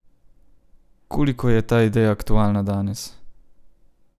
Koliko je ta ideja aktualna danes?